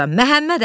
Məhəmmədəli.